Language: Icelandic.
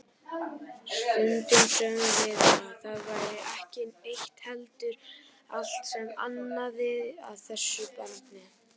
Stundum sögðum við að það væri ekki eitt heldur allt sem amaði að þessu barni.